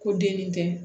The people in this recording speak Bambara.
Ko denni kɛ